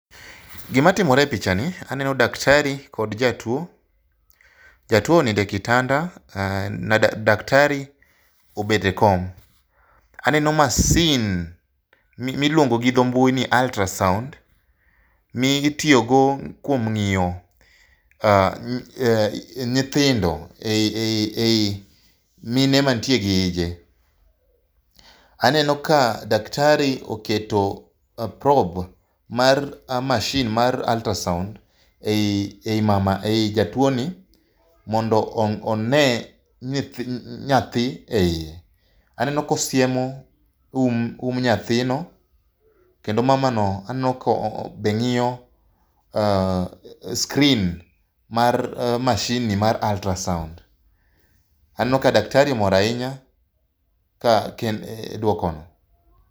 Gimatimore e pichani, aneno daktari kod jatuwo, jatuwo oninde kitanda daktari obedo e kom. Aneno masin miluongo gi dho mbui ni ultrasound mitiyogo kuom ng'iyo nyithindo ei mine mantie gi ije. Aneno ka daktari oketo mar mashin mar ultrasound ei jatuwoni mondo one nyathi e iye. Aneno kosiemo um nyathino kendo mamano aneno ka bende ng'iyo screen mar mashinni mar ultrasound. Aneno ka daktari mor ahinya dwokono.